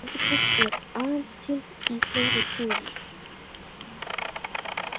Orðið buxur er aðeins til í fleirtölu.